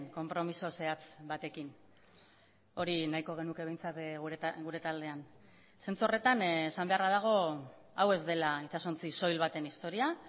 konpromiso zehatz batekin hori nahiko genuke behintzat gure taldean zentzu horretan esan beharra dago hau ez dela itsasontzi soil baten historia